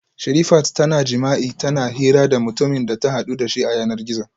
Sherifat tana jima'i tana hira da mutumin da ta hadu dashi a yanar gizo